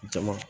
Jama